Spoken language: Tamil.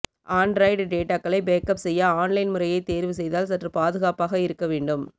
ஆன்டிராய்டு டேட்டாக்களை பேக்கப் செய்ய ஆன்லைன் முறையை தேர்வு செய்தால் சற்று பாதுகாப்பாக இருக்க வேண்டும்